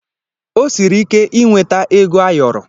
O siri ike ịnweta ego ayọrọ